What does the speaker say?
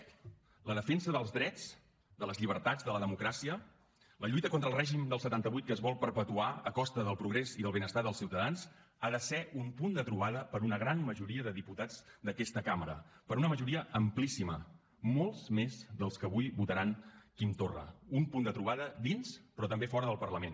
la defensa dels drets de les llibertats de la democràcia la lluita contra el règim del setanta vuit que es vol perpetuar a costa del progrés i del benestar dels ciutadans ha de ser un punt de trobada per a una gran majoria de diputats d’aquesta cambra per a una majoria amplíssima molts més dels que avui votaran quim torra un punt de trobada dins però també fora del parlament